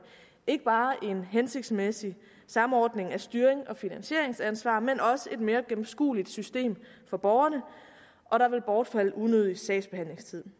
ikke bare en hensigtsmæssig samordning af styring og finansieringsansvar men også et mere gennemskueligt system for borgerne og der vil bortfalde unødig sagsbehandlingstid